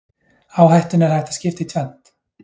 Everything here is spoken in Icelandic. Áhættunni er hægt að skipta í tvennt.